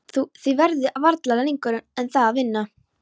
Þið verðið varla lengur en það að vinna.